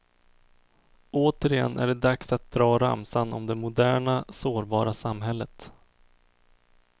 Återigen är det dags att dra ramsan om det moderna, sårbara samhället.